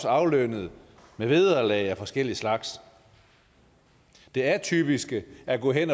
aflønnet med vederlag af forskellig slags det atypiske er gået hen